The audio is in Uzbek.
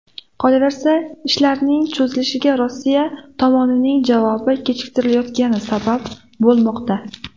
Qolaversa, ishlarning cho‘zilishiga Rossiya tomonining javobi kechikayotgani sabab bo‘lmoqda.